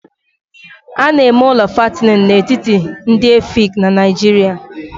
A na-eme ụlọ fattening n'etiti ndị Efik na Nigeria